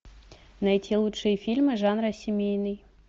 найти лучшие фильмы жанра семейный